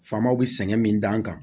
Faamaw sɛgɛn min dan kan